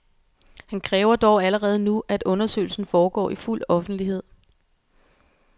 Han kræver dog allerede nu, at undersøgelsen foregår i fuld offentlighed.